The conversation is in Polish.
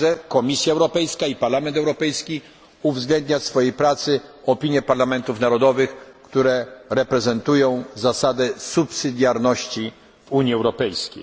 nie było. Komisja Europejska i Parlament Europejski muszą także uwzględniać w swojej pracy opinie parlamentów narodowych, które reprezentują zasadę subsydiarności w Unii